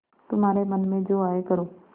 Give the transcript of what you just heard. तुम्हारे मन में जो आये करो